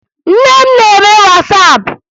Nne m na-eme Wasapụ